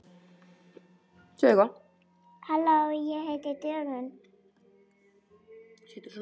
Gógó giftist kananum fór náðarsólin að skína inní tilveru Línu og